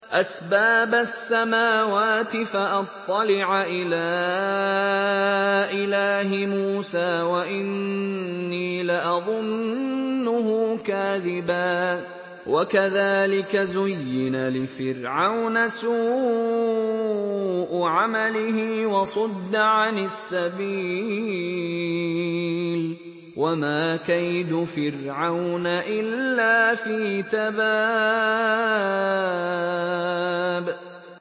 أَسْبَابَ السَّمَاوَاتِ فَأَطَّلِعَ إِلَىٰ إِلَٰهِ مُوسَىٰ وَإِنِّي لَأَظُنُّهُ كَاذِبًا ۚ وَكَذَٰلِكَ زُيِّنَ لِفِرْعَوْنَ سُوءُ عَمَلِهِ وَصُدَّ عَنِ السَّبِيلِ ۚ وَمَا كَيْدُ فِرْعَوْنَ إِلَّا فِي تَبَابٍ